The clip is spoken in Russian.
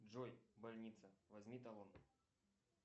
джой больница возьми талон